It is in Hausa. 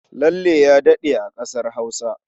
Lalle ya daɗe a ƙasar Hausa.